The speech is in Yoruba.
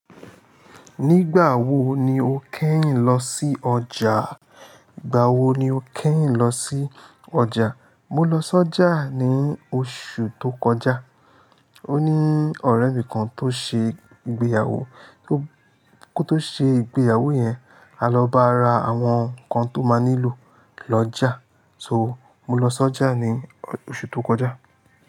Nígbà wo ni o kẹ́yìn lọ sí ọjà? À, ígbà wo ni o kẹ́yìn lọ sí ọjà? Mo lọ sọ́jà ní oṣù tó kọjá. Ó ní ọ̀rẹ́ mi kan tó ṣe ìgbéyàwó, kó tó ṣe ìgbéyàwó yẹn, a lọ bá ra àwọn nnkan tó máa nílò lọ́jà. So, mo lọ s'ọ́jà ní oṣù tó kọjá.